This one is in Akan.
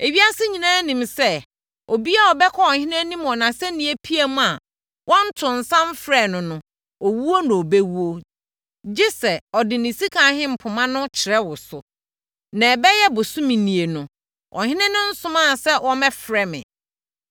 “Ewiase nyinaa nim sɛ, obiara a wobɛkɔ ɔhene anim wɔ nʼasɛnnipiamu a wɔntoo nsa mfrɛɛ wo no, owuo na wobɛwuo gye sɛ, ɔde ne sika ahempoma no kyerɛ wo so. Na ɛbɛyɛ bosome nie no, ɔhene no nsomaa sɛ wɔmmɛfrɛ me.”